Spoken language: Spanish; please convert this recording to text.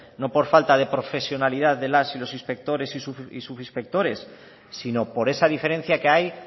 no por falta de profesionalidad de las y los inspectores y subinspectores sino por esa diferencia que hay